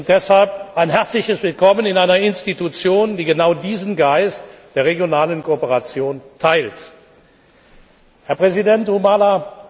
Deshalb ein herzliches Willkommen in einer Institution, die genau diesen Geist der regionalen Kooperation teilt. Herr Präsident Humala!